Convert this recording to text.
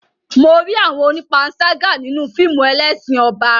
Mo rí àwọn onípanṣágà nínú fíìmù Ẹlẹ́ṣin Ọba.